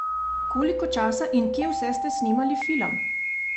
Koliko časa in kje vse ste snemali film?